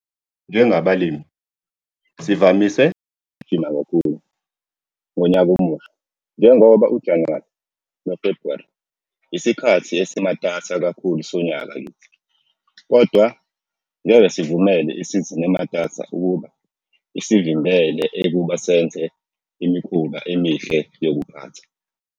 Njengabalimi, sivamise ukugijima kakhulu ngoNyaka oMusha njengoba uJanuwari noFrbhuwari yisikhathi esimatasa kakhulu sonyaka kithi. Kodwa ngeke sivumele isizini ematasa ukuba isivimbele ekuba senze imikhuba emihle yokuphatha.